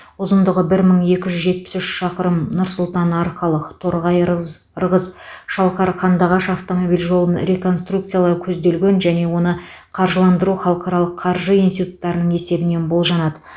ұзындығы бір мың екі жүз жетпіс үш шақырым нұр сұлтан арқалық торғай ырыз ырғыз шалқар қандыағаш автомобиль жолын реконструкциялау көзделген және оны қаржыландыру халықаралық қаржы институттарының есебінен болжанады